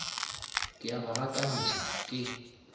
ke a ba gakantšha ke